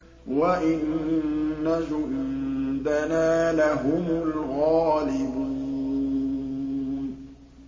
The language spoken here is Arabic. وَإِنَّ جُندَنَا لَهُمُ الْغَالِبُونَ